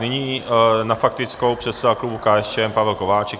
Nyní na faktickou předseda klubu KSČM Pavel Kováčik.